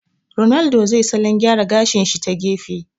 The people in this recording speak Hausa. Ronaldo zai salon gyara gashi shi ta gefe